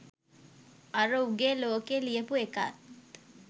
අර උගේ ලෝකෙ ලියපු එකාත්